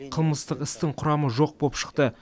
қылмыстық істің құрамы жоқ боп шықты